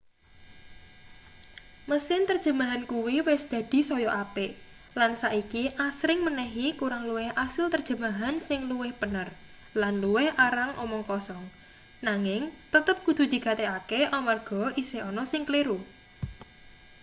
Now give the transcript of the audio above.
mesin terjemahan kuwi wis dadi saya apik lan saiki asring menehi kurang luwih asil terjemahan sing luwih pener lan luwih arang omong kosong nanging tetp kudu digatekake amarga isih ana sing kleru